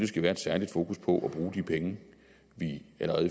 skal være et særligt fokus på at bruge de penge vi i